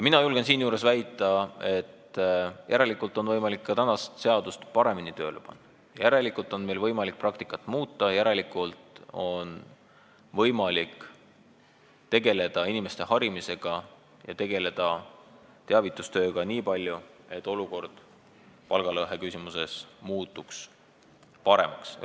Mina julgen siinjuures väita, et järelikult on võimalik tänast seadust paremini tööle panna, järelikult on võimalik praktikat muuta, järelikult on võimalik tegeleda inimeste harimise ja teavitustööga nii palju, et palgalõhe küsimuses muutuks olukord paremaks.